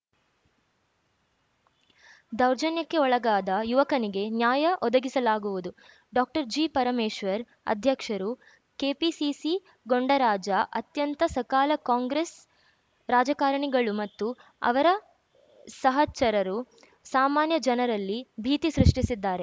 ದೌರ್ಜನ್ಯಕ್ಕೆ ಒಳಗಾದ ಯುವಕನಿಗೆ ನ್ಯಾಯ ಒದಗಿಸಲಾಗುವುದು ಡಾಕ್ಟರ್ ಜಿ ಪರಮೇಶ್ವರ್‌ ಅಧ್ಯಕ್ಷರು ಕೆಪಿಸಿಸಿ ಗೂಂಡಾರಾಜ್‌ ಅಂತ್ಯಕ್ಕೆ ಸಕಾಲ ಕಾಂಗ್ರೆಸ್‌ ರಾಜಕಾರಣಿಗಳು ಮತ್ತು ಅವರ ಸಹಚರರು ಸಾಮಾನ್ಯ ಜನರಲ್ಲಿ ಭೀತಿ ಸೃಷ್ಟಿಸಿದ್ದಾರೆ